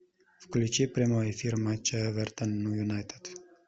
включи прямой эфир матча эвертон и юнайтед